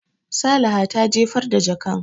Salaha ta jefar da jakan.